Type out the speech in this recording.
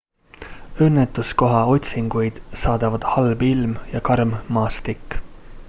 õnnetuskoha otsinguid saadavad halb ilm ja karm maastik